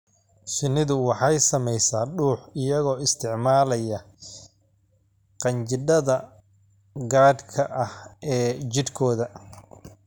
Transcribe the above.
Shinnidu waxay samaysaa dhux iyagoo isticmaalaya qanjidhada gaarka ah ee jidhkooda.